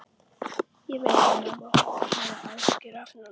Ég veit að mamma og pabbi hafa áhyggjur af Nonna.